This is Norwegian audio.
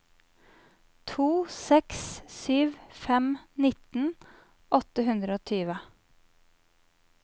to seks sju fem nitten åtte hundre og tjue